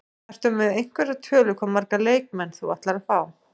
Ertu með einhverja tölu, hvað marga leikmenn þú ætlar að fá?